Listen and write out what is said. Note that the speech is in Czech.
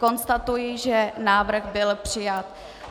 Konstatuji, že návrh byl přijat.